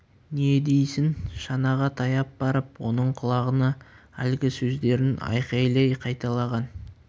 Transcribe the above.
не дейсің шанаға таяп барып оның құлағына әлгі сөздерін айқайлай қайталаған